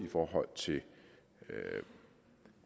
i forhold til